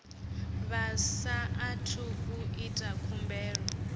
vha saathu u ita khumbelo